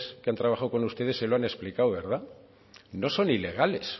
que han trabajado con ustedes se lo han explicado no son ilegales